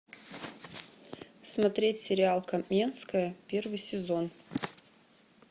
смотреть сериал каменская первый сезон